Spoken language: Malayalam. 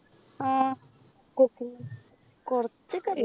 ആഹ് cooking കൊറച്ചൊക്കെ അറിയും.